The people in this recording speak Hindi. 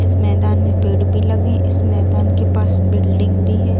इस मैदान में पेड भी लगे हैं इस मैदान के पास बिल्डिंग भी है।